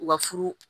U ka furu